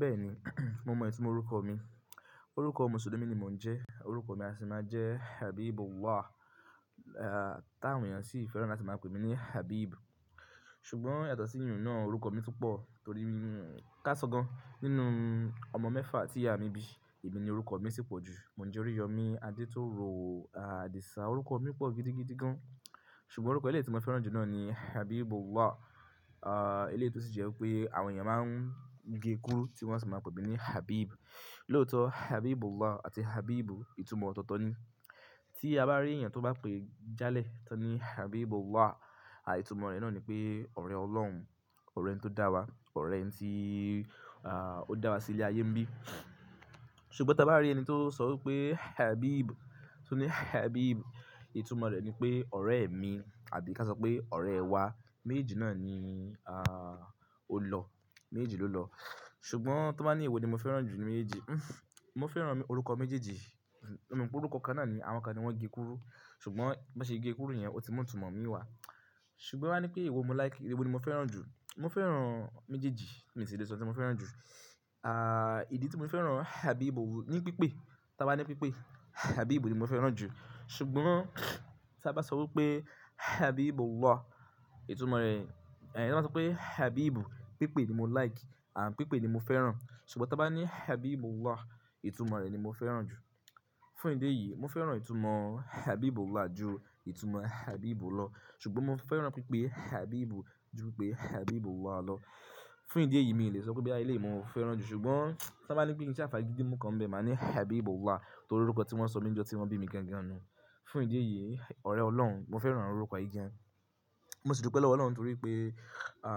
Bẹ́ẹ̀ni, mo mọ itumó orúkọ mi. Orúkọ Mùsùlùmí ni mò ń jẹ́. Orúkọ mi a sì máa jẹ́ Habibullah. À tá àwọn èèyàn sì fẹ́ràn láti máa pè mí ní Habib. Ṣùgbọ́n yàtọ̀ sí ìyiún náà orúkọ mi tún pọ̀ torí mí ká sọ gan. Nínú ọmọ mẹ́fà tí ìyá mi bí, èmi ni orúkọ mi sì pọ̀ jù. Mò ń jẹ́ Oríyọmi, Adétòrò Àdìsá orúkọ mi pọ̀ gidigidi gan. Ṣùgbọ́n orúkọ ẹlẹ́yí tí mo fẹ́ràn jù náà ni Habibullah. À ẹlẹ́yí tó sì jẹ́ pé àwọn èèyàn máa ń gé kúrú tí wọ́n sì máa pè mí ní Habib. Lóòótọ́ Habibullah àti Habib ìtumọ̀ ọ̀tọ̀ọ̀tọ̀ ni. Tí a bá rí èèyàn tó bá pè jálẹ̀ tó ní Habibullah, à ìtumọ̀ rẹ̀ náà ni pé ọ̀rẹ́ Ọlọ́run, ọ̀rẹ́ tó dára, ọ̀rẹ́ tí à ó dára sí ilé ayé ńbí. Ṣùgbọ́n tí a bá rí ẹni tó sọ wípé Habib, tó ní Habib, ìtumọ̀ rẹ̀ ni pé ọ̀rẹ́ mi àbí ká sọ pé ọ̀rẹ́ wa. Méjèèjì náà ni a ó lọ, méjèèjì ló lọ. Ṣùgbọ́n tan bá ní èwo ni mo fẹ́ràn jù ní méjì, mo fẹ́ràn orúkọ méjèèjì. Mo mọ̀ pé orúkọ kan náà ni àwọn kan ni wọ́n gé kúrú. Ṣùgbọ́n bó ṣe gé kúrú yẹn, ó ti mọ̀ ìtumọ̀ mi wà. Ṣùgbọ́n tan bá ní pé ewo mo like, ewò ni mo fẹ́ràn jù? Mo fẹ́ràn méjèèjì, mi si lè sọ tí mo fẹ́ràn jù. À ìdí tí mo fẹ́ràn Habib ní pípé, tá bá ní pípé, Habib ni mo fẹ́ràn jù. Ṣùgbọ́n tí a bá sọ wípé Habibullah, ìtumọ̀ rẹ̀, è tí wọ́n bá sọ pé Habib pípé ni mo like, à pípé ni mo fẹ́ràn. Ṣùgbọ́n tí a bá ní Habibullah, ìtumọ̀ rẹ̀ ni mo fẹ́ràn jù. Fún ìdí èyí, mo fẹ́ràn ìtumọ̀ Habibullah jù ìtumọ̀ Habib lọ. Ṣùgbọ́n mo fẹ́ràn pípé Habib jù pípé Habibullah lọ. Fún ìdí èyí, mi ò lè sọ pé bí à ilé mi mo fẹ́ràn jù ṣùgbọ́n tá bá ní pé ìdí tí à fà gidi mú kan bẹ, mà ní Habibullah torí orúkọ tí wọ́n sọ mí lọ́jọ́ tí wọ́n bí mi gangan ni. Fún ìdí èyí, ọ̀rẹ́ Ọlọ́run, mo fẹ́ràn orúkọ yìí gan. Mo sì dùpẹ́ lọ́wọ́ Ọlọ́run torí pé à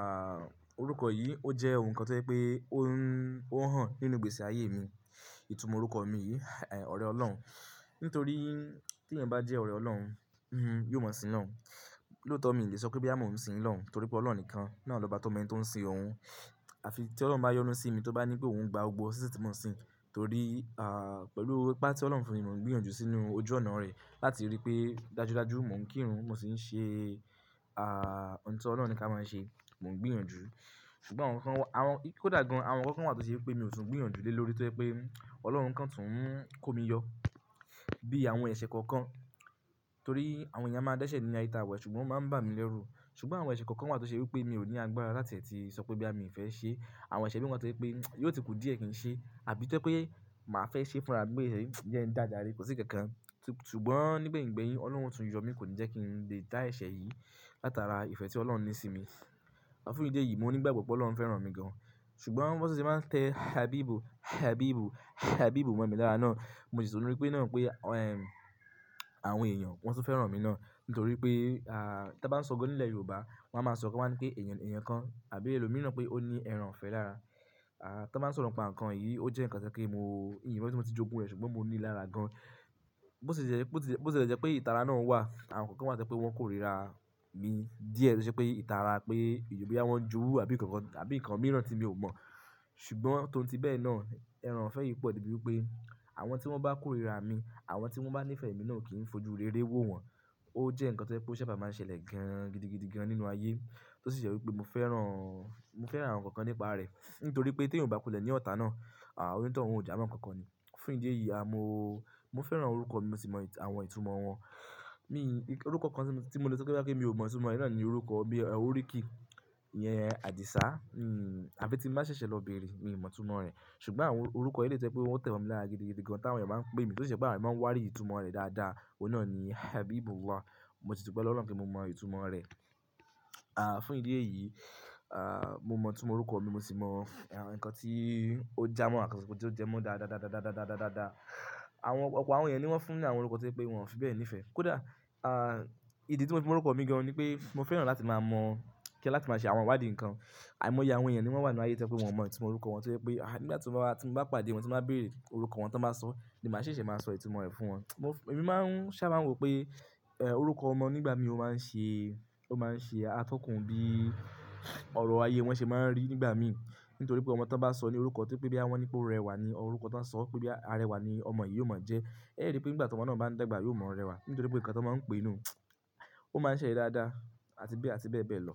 orúkọ yìí ó jẹ́ ohun kan tó jẹ́ pé ó ń ó hàn nínú gbèsi ayé mi. Ìtumọ̀ orúkọ mi yìí, è ọ̀rẹ́ Ọlọ́run. Nítorí tí èèyàn bá jẹ́ ọ̀rẹ́ Ọlọ́run, hm yóò mọ̀ sí ń lọ. Lóótọ́ mi ò lè sọ pé boyà mo ń sí lohun, torí pé Ọlọ́run nìkan náà lobá tọ́ ọmọ ẹni tó ń ṣin òun. Àfi tí Ọlọ́run bá yọnu sí mi, tó bá ní pé òun ń gba gbọ́gbo, sì ṣì tí mo ń sìn. Torí à pẹ̀lú ipá tí Ọlọ́run fún mi gbìyànjú sínú ojú ọ̀nà rẹ̀, láti rí pé dájúdájú mò ń kírun, mò sì ń ṣe à ohun tí Ọlọ́run ní ká máa ṣe, mò ń gbìyànjú. Ṣùgbọ́n àwọn kan wa àwọn kódà gan, àwọn kan kan wà tó ṣe pé mi ò tún ń gbìyànjú dé lórí tó jẹ́ pé Ọlọ́run kan tún ń kó mi yọ. Bí àwọn ẹ̀ṣẹ̀ kọ̀ọ̀kan, torí àwọn èèyàn máa ń dẹ́ṣẹ̀ nínú àye ta wa yi, ṣùgbọ́n wọ́n máa ń bà mí lẹ́rù. Ṣùgbọ́n àwọn ẹ̀ṣẹ̀ kọ̀ọ̀kan wà tó ṣe wípé mi ò ní agbára láti è tí sọ pé boyà mi ò fẹ́ ṣe. Àwọn ẹ̀ṣẹ̀ mí wa tó jẹ́ pé yóò ti kù díẹ̀ kí n ṣe àbí tó je pé mà á fẹ́ ṣe fúnra mi pé ẹẹ̀ jẹ n dáa jarẹ̀ kò sí nkankan. Ṣùgbọ́n nígbẹ̀yin gbẹ́yìn Ọlọ́run o tún yọ mi kò ní jẹ́ kí n lè dá ẹ̀ṣẹ̀ yìí látara ìfẹ́ tí Ọlọ́run ní sí mi. À fún ìdí èyí, mo nígbàgbọ́ pé Ọlọ́run fẹ́ràn mi gan. Ṣùgbọ́n bi won tun ṣe n máa tẹ Habib, Habib, Habib mọ̀ mi lára náà, mo sì tun rí pé náà pé ẹm àwọn èèyàn wọ́n tun fẹ́ràn mi náà. Nítorí pé à tí a bá ń sọ gan nílẹ̀ Yorùbá, wọ́n á máa sọ̀rọ̀ kan wọ́n a ní pé èèyàn èèyàn kan àbí ẹlòmíràn pé ó ní ẹran ifẹ́ lára. À tan bá ń sọ̀rọ̀ npa nǹkan yìí, ó jẹ́ nǹkan tó jẹ́ pé mo ìyẹn hìn mo bi tí mo ti jogún rẹ̀ ṣùgbọ́n mo ní lára gan. Bó ṣe jẹ́ bó ti lè jẹ́ pé ìtara náà wà, àwọn kan wá tó jepé wọ́n kórìíra mi díẹ̀ to ṣẹ́ pé ìtara pé boyá wọ́n jowú àbí nǹkan kan àbí nǹkan mìíràn tí mi ò mọ̀. Ṣùgbọ́n tóun ti bẹ́ẹ̀ náà, ẹran ifẹ́ yìí pọ̀ debi wípé àwọn tí wọ́n bá kórìíra mi, àwọn tí wọ́n bá ní ìfẹ́ mi náà kì í fojú rere wó wọn. Ó jẹ́ nǹkan tó jẹ́ pé ó ṣaba máa ń ṣẹlẹ̀ gan gidigidi gan nínú ayé. Tó sì jẹ́ wípé mo fẹ́ràn mo fẹ́ràn àwọn nǹkan kan nípa rẹ̀. Nítorí pé tí eeyan bá kú lẹ́ ni ọta náà, à òní tọ̀ún ó jámọ̀ nǹkan kan ni. Fún ìdí èyí, a mo mo fẹ́ràn orúkọ mi, mo sì mọ àwọn ìtumọ̀ wọn. Mi kiki orúkọ kan tí mo lè sọ pé boyá pe mi ò mọ ìtumọ̀ rẹ̀ náà ni orúkọ bí i oríkì. Iyẹn Àdìsá, hm àfí tí n bà ṣẹ̀ṣẹ̀ lọ bẹ̀erẹ̀, mi ò mọ ìtumọ̀ rẹ̀. Ṣùgbọ́n àwọn orúkọ ẹlẹ́yí tó jepé wọ́n tẹ̀ mọ́ mi lára gidigidi gan táwọn èèyàn bá ń pè mí, tó sì jẹ́ pe awọ́n eeyan máa n warí ìtumọ̀ rẹ̀ dáadáa, oun náà ni Habibullah. Mo sì dùpẹ́ lọ́wọ́ Ọlọ́run pe mo mọ ìtumọ̀ rẹ̀. À fún ìdí èyí, à mo mọ ìtumọ̀ orúkọ mi, mo sì mọ nǹkan tí ó jámọ́ àti ohun tí ó jẹ́ mọ́ dáadáadáadáadáadáadáadáadáà. Àwọn ọ̀pọ̀ àwọn èèyàn ni wọ́n fún ní àwọn orúkọ tó je pé wọ́n ò fi bẹ́ẹ̀ ní ìfẹ́. Kódà à ìdí tí mo fi mọ orúkọ mi gan ni pé mo fẹ́ràn láti máa mọ̀ kí ẹ láti máa ṣe àwọn wádìì nǹkan. Àìmọ̀yẹ àwọn èèyàn ni wọ́n wà nínú ayé tó jẹ́ pé wọ́n o mọ ìtumọ̀ orúkọ wọn tó jẹ́ pé à nígbà tí mo bá tí mo bá pàdé wọn, tí n bá béèrè orúkọ wọn tí wọ́n bá sọ ni màá ṣẹ̀ṣẹ̀ máa sọ ìtumọ̀ rẹ̀ fún wọn. Mo èmi máa ń sá máa ń wò pé è orúkọ ọmọ nígbà mìí ó máa ń ṣe ó máa ń ṣe atọ́kùn bí ọ̀rọ̀ ayé wọn ṣe máa ń rí nígbà mìí. Nítorí pé ọmọ tí wọ́n bá sọ ní orúkọ to se pé boyà wọ́n ní pé ó rẹwà ni orúkọ tí wọ́n sọ wípé boyà arẹwà ni ọmọ yìí ó máa jẹ́. Ẹ́ rí pé nígbà tomo náà ba n dàgbà, yóò maa rẹwà torí pe nkan tan maa n pe niyen. O maa n ṣẹlẹ̀ bẹ́ẹ̀, àti bẹ́ẹ̀ àti beebee lo.